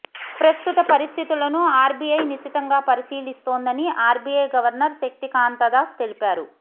ప్రస్తుత పరిస్థితులను ఆర్బీఐ నిశితంగా పరిశీలిస్తోందని ఆర్బీఐ గవర్నర్ శక్తికాంతదాస్ తెలిపారు